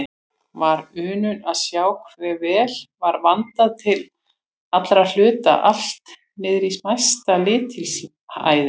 Var unun að sjá hve vel var vandað til allra hluta, allt niðrí smæsta lítilræði.